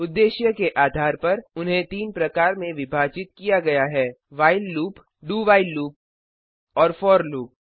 उद्देश्य के आधार पर उन्हें तीन प्रकार में विभाजित किया गया है160 व्हाइल लूप dowhile लूप और फोर लूप